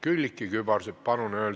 Külliki Kübarsepp, palun!